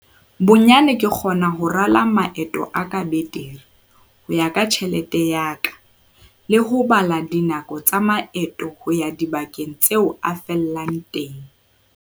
"Bonyane ke kgona ho rala maeto a ka betere, ho ya ka tjhelete ya ka, le ho bala dinako tsa maeto ho ya dibakeng tseo a fellang teng."